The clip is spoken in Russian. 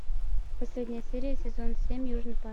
последняя серия сезон семь южный парк